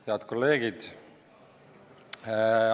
Head kolleegid!